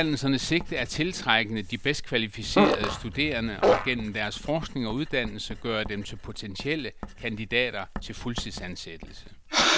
Uddannelsernes sigte er at tiltrække de bedst kvalificerede studerende og gennem deres forskning og uddannelse gøre dem til potentielle kandidater til fuldtidsansættelse.